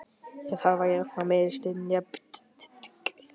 Ég þarf að jafna mig, styn ég.